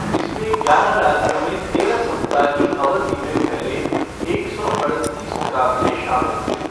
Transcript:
इसमें ग्यारह राज्यों में तेरह सप्ताह की अवधि में फैले एक सौ अड़तीस मुक़ाबले शामिल थे।